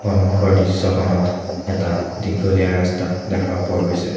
সন্মুখৰ দৃশ্যখনত এটা দীঘলীয়া ৰাস্তা দেখা পোৱা গৈছে।